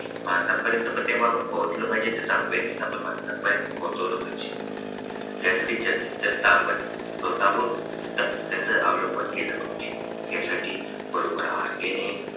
माणसापर्यंत प्रत्येक आपण पोचलं पाहिजे आणि त्याच्या awareness माणसापर्यंत पोहोचवला पाहिजे त्यासाठी जास्तीत जास्त आपण स्वतःवर सुद्धा त्याचा अवलंब केला पाहिजे यासाठी बरोबर आहार घेणे.